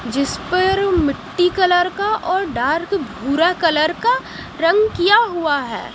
जिस पर मिट्टी कलर का और डार्क भूरा कलर का रंग किया हुआ है।